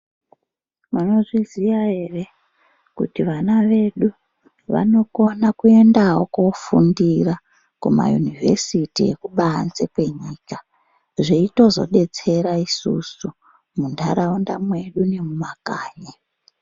Maizviziva here kuti vana vedu vanokona Kuendawo kofundira kuma university ekubanze kwenyika zveitodetsera isusu mundaraunda medu nemumakanyi.